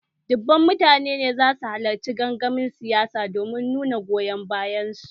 Dubban mutane ne za su halarci gangamin siyasa domin nuna goyon bayan su